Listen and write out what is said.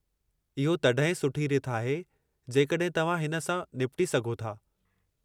इहो तॾहिं ई सुठी रिथ आहे जेकॾहिं तव्हां हिन सां निबटी सघो था।